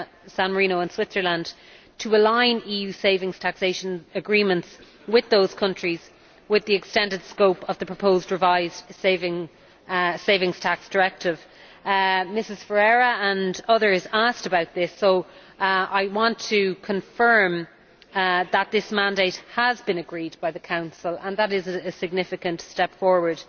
San Marino and Switzerland and to align EU savings taxation agreements with those countries with the extended scope of the proposed revised Savings Tax Directive. As Ms Ferreira and others asked about this, I want to confirm that this mandate has been agreed by the Council, and that is a significant step forward.